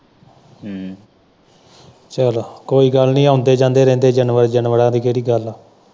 ਹਮ ਚਲੋਂ ਕੋਈ ਗੱਲ ਨੀ ਆਉਂਦੇ-ਜਾਂਦੇ ਰਹਿੰਦੇ ਜਾਨਵਰਾਂ ਦੀ ਕਿਹੜੀ ਗੱਲ ਏ।